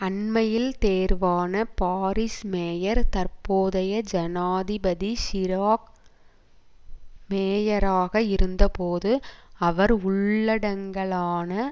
அண்மையில் தேர்வான Paris mayor தற்போதைய ஜனாதிபதி சிராக் மேயராக இருந்தபோது அவர் உள்ளடங்கலாக